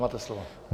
Máte slovo.